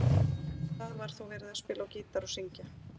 Á einum stað var þó verið að spila á gítar og syngja.